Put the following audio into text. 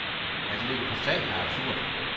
At ligge på sand er absurd.